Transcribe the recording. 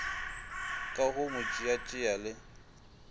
ka go mo tšeatšea le